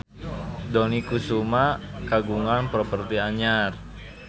Dony Kesuma kagungan properti anyar